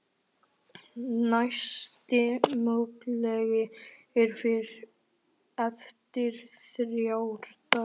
Næsti möguleiki er eftir þrjá daga.